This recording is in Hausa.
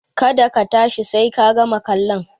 Ka da ka tashi sai ka gama kallon!